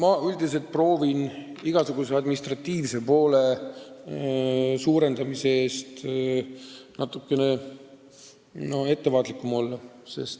Ma üldiselt olen igasuguste administratiivse poole suurendamise ettepanekute puhul ettevaatlik.